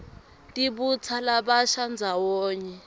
tibutsa labasha ndzawonye